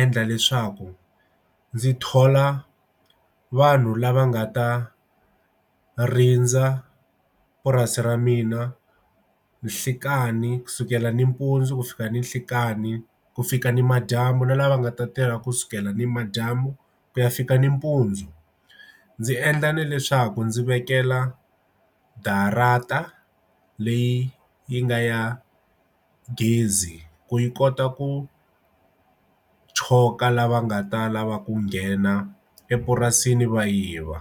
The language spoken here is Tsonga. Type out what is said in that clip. endla leswaku ndzi thola vanhu lava nga ta rindza purasi ra mina nhlikani kusukela nimpundzu ku fika ninhlekani ku fika ni madyambu na lava nga ta tirha kusukela ni madyambu ku ya fika nimpundzu ndzi endla na leswaku ndzi vekela darata hl leyi yi nga ya gezi ku yi kota ku choka lava nga ta lava ku nghena epurasini va yiva.